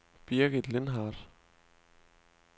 Birgit Lindhardt